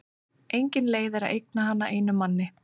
Engin leið er að eigna hana einum manni.